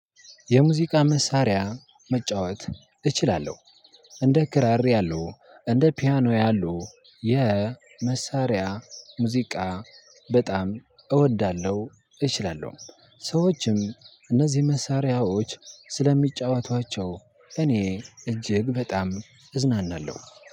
የሙዚቃ መሳሪያ መጫወት እችላለሁ። እንደ ክራር ያሉ እንደ ፒያኖ ያሉ የመሳሪያ ሙዚቃ በጣም እወዳለሁ እችላለሁም። ሰዎችም እነዚህ መሳሪያዎች ስለሚጫወቷቸው እኔ እጅግ በጣም እዝናናለሁ።